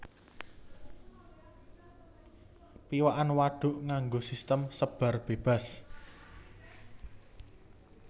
Piwakan wadhuk nganggo sistem sebar bébas